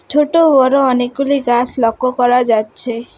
ছোট-বড় অনেকগুলি গাছ লক্ষ্য করা যাচ্ছে।